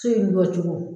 So in jɔ cogo